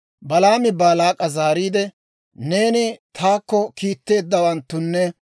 Balaami Baalaak'a zaariide, «Neeni taakko kiitteeddawanttunne,